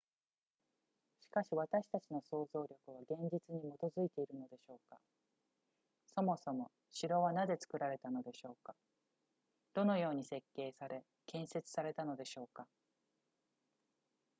しかし私たちの想像力は現実に基づいているのでしょうかそもそも城はなぜ作られたのでしょうかどのように設計され建設されたのでしょうか